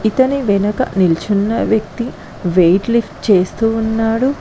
ఇతని వెనక నిల్చున్న వ్యక్తి వెయిట్ లిఫ్ట్ చేస్తూ ఉన్నాడు.